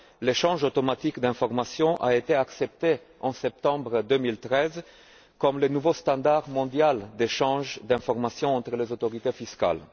20. L'échange automatique d'informations a été accepté, en septembre 2013, comme la nouvelle norme mondiale en matière d'échange d'informations entre les autorités fiscales.